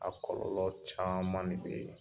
A kɔlɔlɔ caman ne be yen